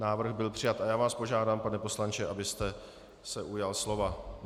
Návrh byl přijat a já vás požádám, pane poslanče, abyste se ujal slova.